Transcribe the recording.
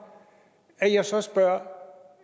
at jeg så spørger om